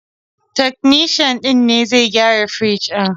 Takanishan ne zai gyara firjin.